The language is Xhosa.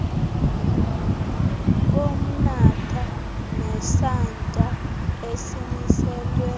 bomnatha nesantya esimiselwe